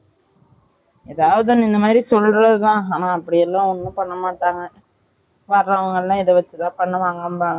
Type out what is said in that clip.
எதாவது ஒன்னு இந்த மாதிரி சொல்றது தான் ஆனா அப்படிலாம் ஒன்னும் பண்ண மட்டாங்க வரவங்களாம் இது வச்சி பண்ணுவங்கன்னுபா